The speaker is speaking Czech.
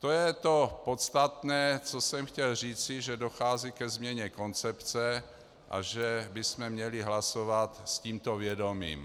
To je to podstatné, co jsem chtěl říci, že dochází ke změně koncepce a že bychom měli hlasovat s tímto vědomím.